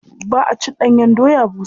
Ba a cin ɗanyen doya busa.